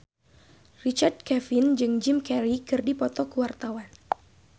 Richard Kevin jeung Jim Carey keur dipoto ku wartawan